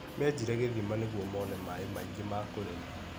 Menjire gĩthima nĩguo mone maĩ maingĩ ma kũrĩma.